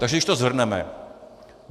Takže když to shrneme.